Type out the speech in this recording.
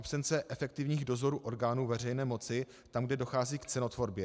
Absence efektivních dozorů orgánů veřejné moci tam, kde dochází k cenotvorbě.